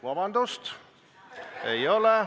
Vabandust, ei ole nii!